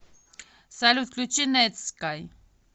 салют включи нетскай